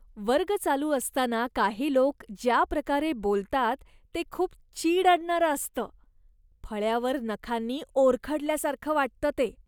वर्ग चालू असताना काही लोक ज्या प्रकारे बोलतात ते खूप चीड आणणारं असतं, फळ्यावर नखांनी ओरखडल्यासारखं वाटतं ते.